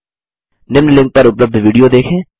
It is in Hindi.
निम्न लिंक पर उपलब्ध विडियो देखें